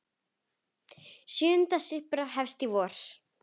Sjöunda syrpa hefst í vor.